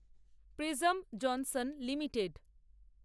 prism Johnson limited